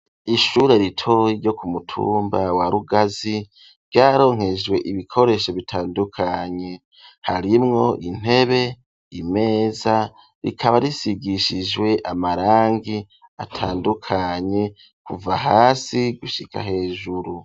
Ishure ritoyi ryo ku mutumba wa rugazi ryaronkejwe ibikoresho bitandukanye harimwo intebe, imeza rikaba risigishijwe amarangi atandukanye kuva hasi gushika hejuru.